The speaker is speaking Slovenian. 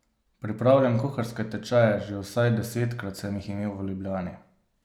Pripravljam kuharske tečaje, že vsaj desetkrat sem jih imel v Ljubljani.